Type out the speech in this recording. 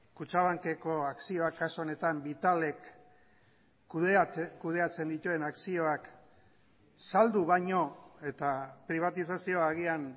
kutxabankeko akzioak kasu honetan vitalek kudeatzen dituen akzioak saldu baino eta pribatizazioa agian